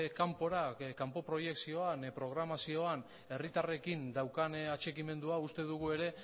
kanpo proiekzioan programazioan herritarrekin daukan atxikimendua uste dugu ere